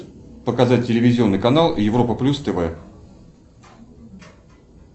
показать телевизионный канал европа плюс тв